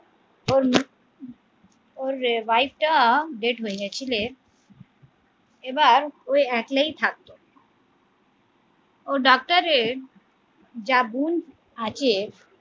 ওর ওর wife টা death হয়ে গেছিলে এবার ও একলাই থাকতো ও ডাক্তারের যা গুণ আছে